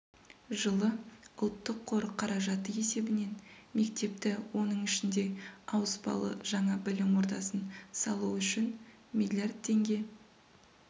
жылы ұлттық қор қаражаты есебінен мектепті оның ішінде ауыспалы жаңа білім ордасын салу үшін миллиард теңге